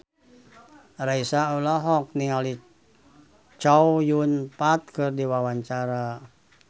Raisa olohok ningali Chow Yun Fat keur diwawancara